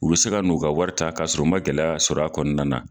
U be se ka n'u ka wari ta k'a sɔrɔ u ma gɛlɛya sɔrɔ a kɔnɔna na.